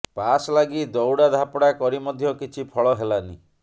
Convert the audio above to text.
pass ଲାଗି ଦଉଡା ଧାପଡା କରି ମଧ୍ୟ କିଛି ଫଳ ହେଲାନି